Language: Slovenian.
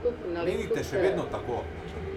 Menite še vedno tako?